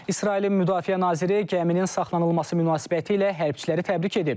İsrailin müdafiə naziri gəminin saxlanılması münasibətilə hərbiçiləri təbrik edib.